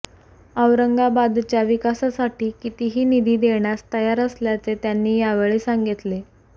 औरंगाबादच्या विकासासाठी कितीही निधी देण्यास तयार असल्याचे त्यांनी यावेळी सांगितले